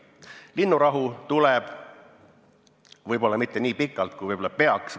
Linnurahu tuleb, võib-olla mitte nii pikalt kui peaks.